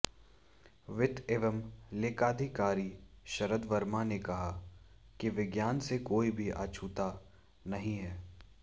वित्त एवं लेखाधिकारी शरद वर्मा ने कहा कि विज्ञान से कोई भी अछूता नहीं है